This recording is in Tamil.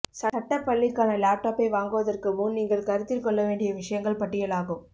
சட்ட பள்ளிக்கான லேப்டாப்பை வாங்குவதற்கு முன் நீங்கள் கருத்தில் கொள்ள வேண்டிய விஷயங்கள் பட்டியலாகும்